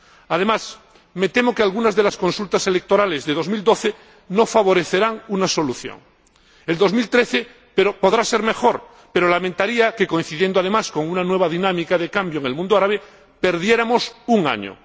Además, me temo que algunas de las consultas electorales de 2012 no favorecerán una solución. El 2013 podrá ser mejor, pero lamentaría que, coincidiendo, además, con una nueva dinámica de cambio en el mundo árabe, perdiéramos un año.